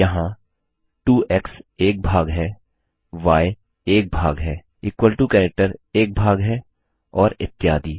यहाँ 2एक्स एक भाग हैy एक भाग है इक्वल टो कैरेक्टर एक भाग है और इत्यादि